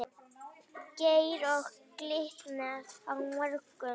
Geir Og Glitnir á morgun?